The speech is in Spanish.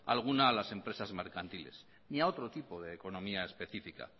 alguna a las empresas mercantiles ni a otro tipo de economía específica